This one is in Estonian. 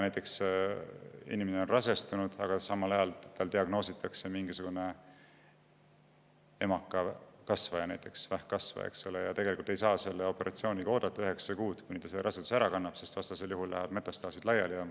Inimene on rasestunud, aga samal ajal diagnoositakse tal näiteks mingisugune emakakasvaja, vähkkasvaja, ja on tarvis opereerida, sest operatsiooniga ei saa oodata üheksa kuud, kuni ta raseduse ära kannab, vastasel juhul lähevad metastaasid laiali.